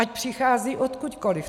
Ať přichází odkudkoliv.